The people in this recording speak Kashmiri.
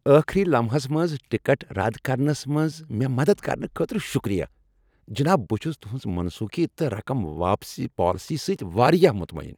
ٲخٕری لمحس منٛز ٹکٹ رد کرنس منٛز مےٚ مدد کرنہٕ خٲطرٕ شکریہ، جناب، بہٕ چھس تہنٛز منسوخی تہٕ رقم واپسی ہنٛز پالیسی سۭتۍ واریاہ مطمئن۔